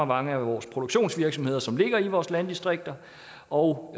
mange produktionsvirksomheder som ligger i vores landdistrikter og